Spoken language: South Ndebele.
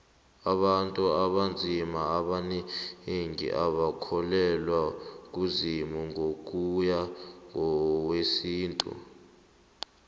abantu abanzima abanengi abakholelwa kuzimu ngokuya ngowesintu